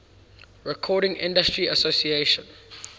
recording industry association